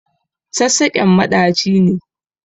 Sassaƙen maɗaci ne.